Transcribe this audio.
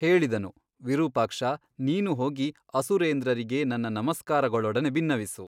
ಹೇಳಿದನು ವಿರೂಪಾಕ್ಷ ನೀನು ಹೋಗಿ ಅಸುರೇಂದ್ರರಿಗೆ ನನ್ನ ನಮಸ್ಕಾರಗಳೊಡನೆ ಬಿನ್ನವಿಸು.